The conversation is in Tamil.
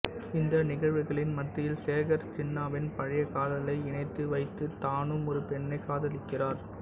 இந்த நிகழ்வுகளின் மத்தியில் சேகர் சின்னாவின் பழைய காதலை இணைத்து வைத்து தானும் ஒரு பெண்ணைக் காதலிக்கிறார்